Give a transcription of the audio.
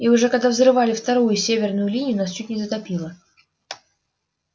и уже когда взрывали вторую северную линию нас чуть не затопило